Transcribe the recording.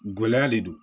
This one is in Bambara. Gɛlɛya de don